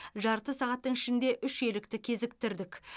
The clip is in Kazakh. жарты сағаттың ішінде үш елікті кезіктірдік